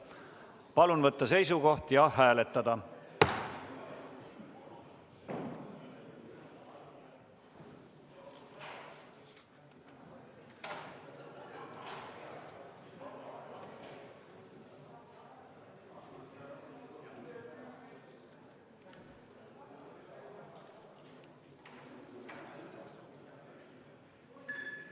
Palun võtta seisukoht ja hääletada!